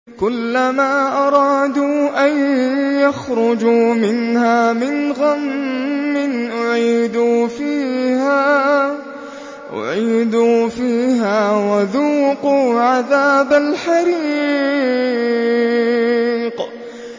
كُلَّمَا أَرَادُوا أَن يَخْرُجُوا مِنْهَا مِنْ غَمٍّ أُعِيدُوا فِيهَا وَذُوقُوا عَذَابَ الْحَرِيقِ